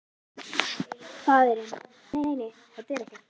Faðirinn: Nei nei, þetta er ekkert.